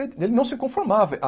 Eh ele não se conformava.